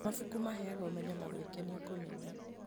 Mabuku maheaga ũmenyo na gwĩkenia kũnene.